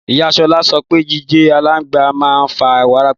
Ìyá Sola sõpe jijé àlàngbá mà n fá wàràpá